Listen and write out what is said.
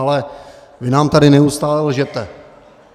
Ale vy nám tady neustále lžete.